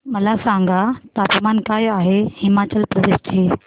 मला सांगा तापमान काय आहे आज हिमाचल प्रदेश चे